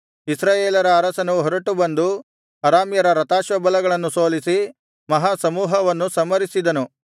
ಇಸ್ರಾಯೇಲರ ಅರಸನು ಹೊರಟು ಬಂದು ಅರಾಮ್ಯರ ರಥಾಶ್ವಬಲಗಳನ್ನು ಸೋಲಿಸಿ ಮಹಾಸಮೂಹವನ್ನು ಸಂಹರಿಸಿದನು